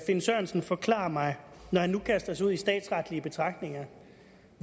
finn sørensen forklare mig når han nu kaster sig ud i statsretlige betragtninger